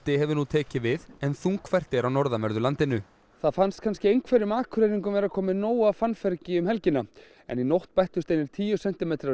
hefur nú tekið við en þungfært er á norðanverðu landinu það fannst kannski einhverjum Akureyringum vera komið nóg af fannfergi um helgina en í nótt bættust við einir tíu sentimetrar